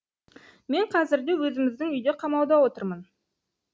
мен қазірде өзіміздің үйде қамауда отырмын